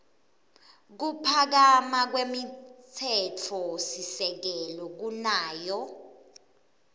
kuphakama kwemtsetfosisekelo kunayo